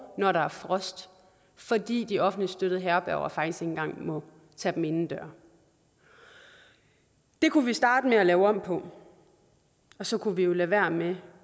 når der er frost fordi de offentligt støttede herberger faktisk ikke engang må tage dem indenfor det kunne vi starte med at lave om på og så kunne vi jo lade være med